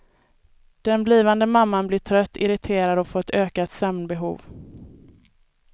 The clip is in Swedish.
Den blivande mamman blir trött, irriterad och får ett ökat sömnbehov.